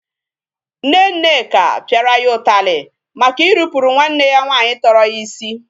Nne Nneka pịara ya ụtalị maka irupuru nwanne ya nwaanyị tọrọ ya isi.